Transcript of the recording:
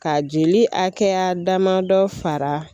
Ka jeli akɛya damadɔ fara